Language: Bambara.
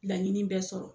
Laɲini bɛɛ sɔrɔ